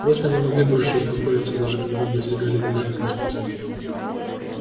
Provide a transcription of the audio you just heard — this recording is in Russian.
просто не могли больше успокоиться даже когда достигали обитаемой станции